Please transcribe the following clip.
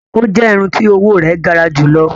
O jẹ irun ti owo rẹ gara julọ.